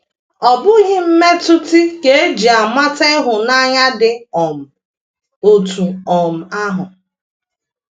Ọ bụghị mmetụtị ka e ji amata ịhụnanya dị um otú um ahụ.